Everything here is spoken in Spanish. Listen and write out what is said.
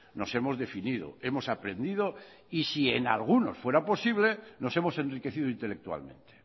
nos hemos definido hemos aprendido y si en alguno fuera posible nos hemos enriquecido intelectualmente